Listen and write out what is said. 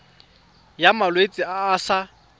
ya malwetse a a sa